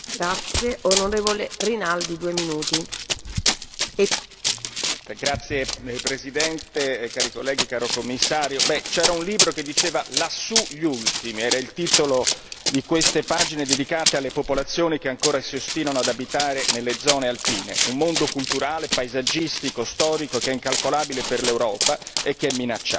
Signora Presidente, onorevoli colleghi, signor Commissario, c'era un libro che diceva Lassù gli ultimi, era il titolo di queste pagine dedicate alle popolazioni che ancora si ostinano ad abitare nelle zone alpine, un mondo culturale, paesaggistico, storico, che è incalcolabile per l'Europa e che è minacciato.